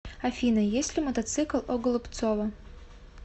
афина есть ли мотоцикл у голубцова